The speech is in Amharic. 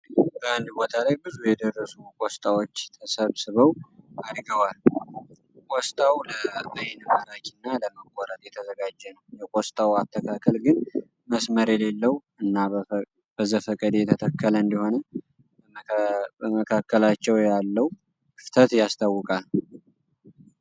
በአንድ ቦታ ላይ ብዙ የደረሱ ቆስጣዎች ተሰብስበው አድገዋል። ቆስጣው ለአይን ማራኪ እና ለመቆረጥ የተዘጋጀ ነው። የቆስጣው አተካከል ግን መስመር የሌለው እና በዘፈቀደ የተተከለ እንደሆነ በመካከላቸው ያለው ክፍተት ያስታውቃል።